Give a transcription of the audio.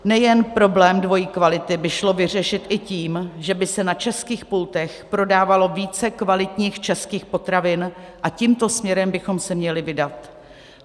Nejen problém dvojí kvality by šlo vyřešit i tím, že by se na českých pultech prodávalo více kvalitních českých potravin, a tímto směrem bychom se měli vydat.